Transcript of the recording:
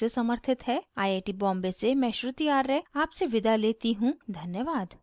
I I T Bombay से मैं श्रुति आर्य आपसे विदा लेती you धन्यवाद